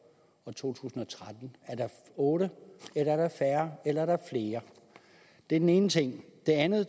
og 2013 er der otte eller er der færre eller er der flere det er den ene ting det andet er